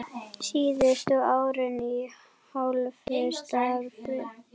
Síðustu árin í hálfu starfi.